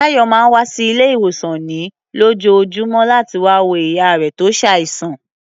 Táyọ̀ máa ń wá sí ilé-ìwòsàn ní lójoojúmọ́ láti wá wo ìyá rẹ̀ tó ṣàìsàn.